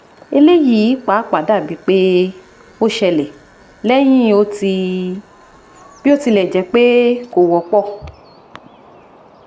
eleyi papa dabi pe o ṣẹlẹ̀ lẹ́yìn oti biotilejepe ko wọpọ